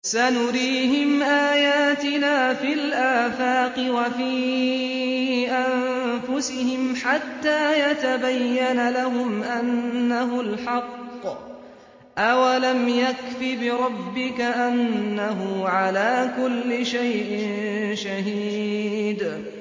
سَنُرِيهِمْ آيَاتِنَا فِي الْآفَاقِ وَفِي أَنفُسِهِمْ حَتَّىٰ يَتَبَيَّنَ لَهُمْ أَنَّهُ الْحَقُّ ۗ أَوَلَمْ يَكْفِ بِرَبِّكَ أَنَّهُ عَلَىٰ كُلِّ شَيْءٍ شَهِيدٌ